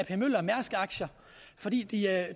ap møller mærsk aktier fordi de er